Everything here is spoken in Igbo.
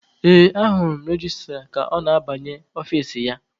Ee, ahụrụ m registra ka ọ na-abanye ọfici ya.